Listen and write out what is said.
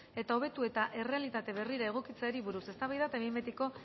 eta hobetu eta errealitate berrira egokitzeari buruz eztabaida eta behin betiko